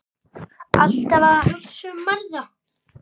Alltaf að hugsa um aðra.